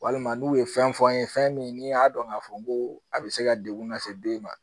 Walima n'u ye fɛn fɔ an ye fɛn min n'i y'a dɔn k'a fɔ ko a bɛ se ka degun lase den ma